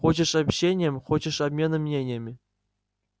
хочешь общением хочешь обменом мнениями